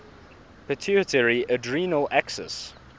pituitary adrenal axis